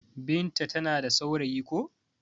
Binta ta na da saurayi ko.